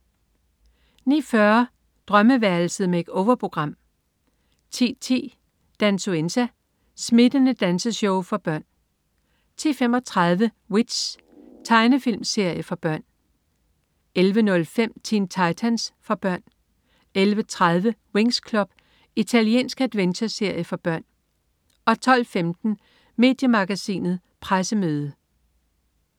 09.40 Drømmeværelset. Make-over-program 10.10 Dansuenza. Smittende danseshow for børn 10.35 W.i.t.c.h. Amerikansk tegnefilmserie for børn 11.05 Teen Titans. Amerikansk actiontegnefilm for børn 11.30 Winx Club. Italiensk adventure-serie for børn 12.15 Mediemagasinet Pressemøde